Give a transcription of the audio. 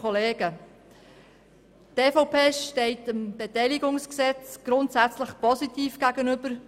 Die EVP steht dem Beteiligungsgesetz grundsätzlich positiv gegenüber.